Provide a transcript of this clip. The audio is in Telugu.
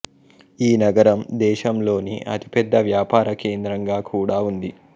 ఈ నగరం దేశంలోని అతిపెద్ద వ్యాపార కేంద్రంగా కూడా ఉంది